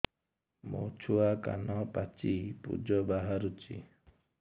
ମୋ ଛୁଆ କାନ ପାଚି ପୂଜ ବାହାରୁଚି